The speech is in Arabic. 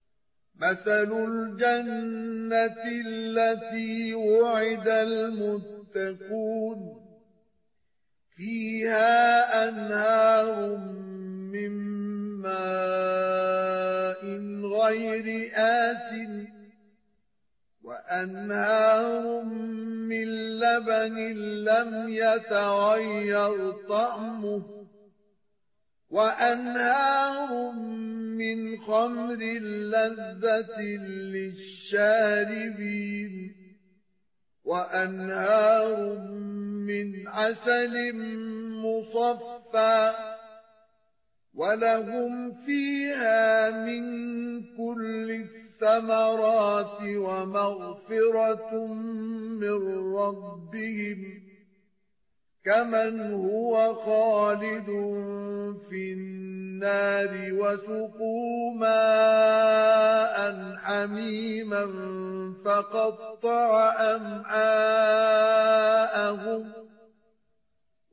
مَّثَلُ الْجَنَّةِ الَّتِي وُعِدَ الْمُتَّقُونَ ۖ فِيهَا أَنْهَارٌ مِّن مَّاءٍ غَيْرِ آسِنٍ وَأَنْهَارٌ مِّن لَّبَنٍ لَّمْ يَتَغَيَّرْ طَعْمُهُ وَأَنْهَارٌ مِّنْ خَمْرٍ لَّذَّةٍ لِّلشَّارِبِينَ وَأَنْهَارٌ مِّنْ عَسَلٍ مُّصَفًّى ۖ وَلَهُمْ فِيهَا مِن كُلِّ الثَّمَرَاتِ وَمَغْفِرَةٌ مِّن رَّبِّهِمْ ۖ كَمَنْ هُوَ خَالِدٌ فِي النَّارِ وَسُقُوا مَاءً حَمِيمًا فَقَطَّعَ أَمْعَاءَهُمْ